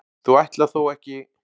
þú ætlar þó ekki.